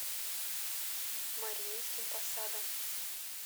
мариинским посадом